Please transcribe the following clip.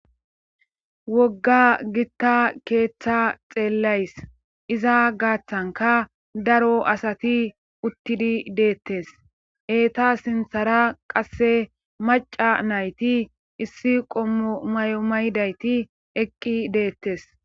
wogga gitta keeththa xeellays iza gaaththanka daro asati uttidi deettes heeta sinthara qasse maca nayti issi qommo may7o maydayti eqqi deettes